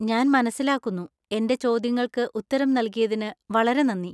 ഞാൻ മനസിലാക്കുന്നു. എന്‍റെ ചോദ്യങ്ങൾക്ക് ഉത്തരം നൽകിയതിന് വളരെ നന്ദി.